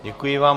Děkuji vám.